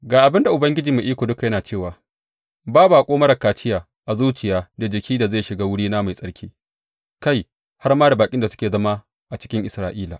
Ga abin da Ubangiji Mai Iko Duka yana cewa ba baƙo marar kaciya a zuciya da jiki da zai shiga wurina mai tsarki, kai, har ma da baƙin da suke zama a cikin Isra’ila.